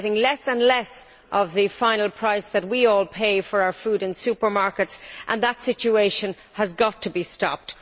They are getting less and less of the final price that we all pay for our food in supermarkets and that situation has got to be stopped.